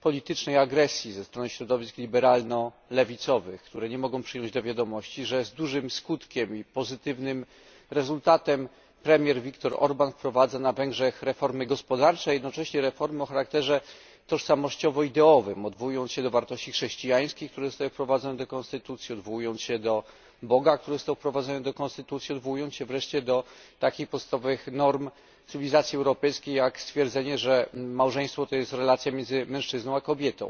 politycznej agresji ze strony środowisk liberalno lewicowych, które nie mogą przyjąć do wiadomości, że z dużym skutkiem i pozytywnym rezultatem premier Victor Orbán wprowadza na Węgrzech reformy gospodarcze, a jednocześnie reformy o charakterze tożsamościowo ideowym, odwołując się do wartości chrześcijańskich, które zostały wprowadzone do konstytucji, odwołując się do Boga, który został wprowadzony do konstytucji, odwołując się wreszcie do takich podstawowych norm cywilizacji europejskiej, jak stwierdzenie, że małżeństwo to jest relacja między mężczyzną a kobietą.